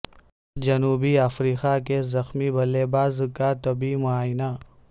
جنوبی افریقہ کے زخمی بلے باز کا طبی معائنہ